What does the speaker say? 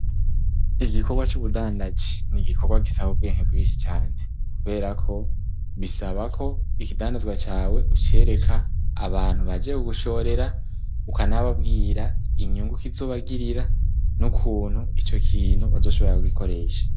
Igikorwa c'ubudandazi ni igikorwa gisaba ubwenke bwinshi cane kubera ko bisaba ko ikidandazwa cawe ucereka abantu baje ku gushorera, ukanababwira inyungu kizobagirira, n'ukuntu ico kintu bazoshobora kugikoresha.